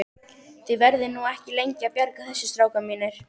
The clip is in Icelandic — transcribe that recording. Þið verðið nú ekki lengi að bjarga þessu strákar mínir.